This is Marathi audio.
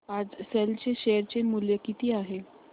आज सेल चे शेअर चे मूल्य किती आहे